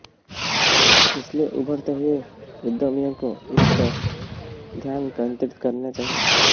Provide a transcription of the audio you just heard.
इसलिए उभरते हुए उद्यमियों को इस पर ध्यान केन्दित करना चाहिए